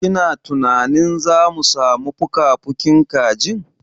Kina tunanin zamu samu fukafukin kajin?